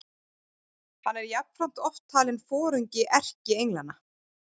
Hann er jafnframt oft talinn foringi erkienglanna.